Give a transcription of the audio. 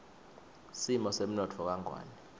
simo semnotfo kangwane